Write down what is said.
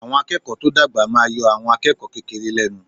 Àwọn akẹ́kọ̀ọ́ tó dàgbà máa yọ àwọn akẹ́kọ̀ọ́ kékeré lẹ́nu.